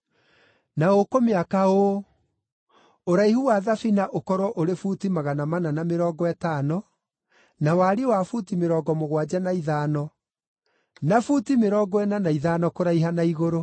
Na ũkũmĩaka ũũ: Ũraihu wa thabina ũkorwo ũrĩ buti magana mana na mĩrongo ĩtano, na wariĩ wa buti mĩrongo mũgwanja na ithano na buti mĩrongo ĩna na ithano, kũraiha na igũrũ.